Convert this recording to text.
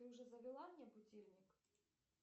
ты уже завела мне будильник